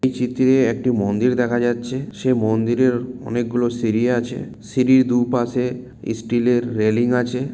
এই চিত্রে একটি মন্দির দেখা যাচ্ছে সে মন্দিরের অনেকগুলি সিঁড়ি আছে। সিঁড়ির দুপাশে ইস্টিলের রেলিং আছে।